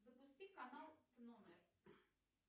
запусти канал номер